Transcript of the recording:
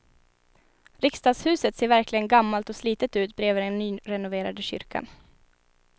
Riksdagshuset ser verkligen gammalt och slitet ut bredvid den nyrenoverade kyrkan.